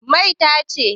Mai ta ce?